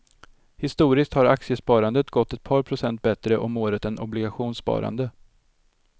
Historiskt har aktiesparandet gått ett par procent bättre om året än obligationssparande.